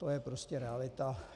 To je prostě realita.